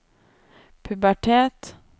pubertet